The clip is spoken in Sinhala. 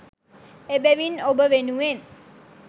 එබැවින් ඔබ වෙනුවෙන්